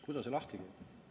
Kuidas see lahti käib?